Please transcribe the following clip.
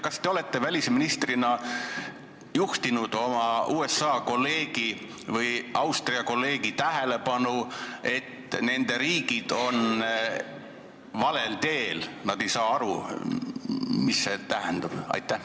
Kas te olete välisministrina juhtinud oma USA või Austria kolleegi tähelepanu sellele, et need riigid on valel teel, et nad ei saa aru, mis see tähendab?